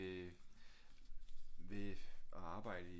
Øh ved at arbejde i